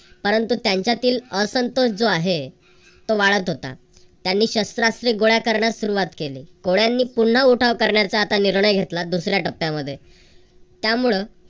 परंतु त्यांच्यातील असंतोष जो आहे तो वाढत होता. त्यांनी शस्त्रास्त्रे गोळा करण्यास सुरुवात केली. कोळ्यांनी पुन्हा उठाव करण्याचा आता निर्णय घेतला दुसऱ्या टप्प्यामध्ये. त्यामुळे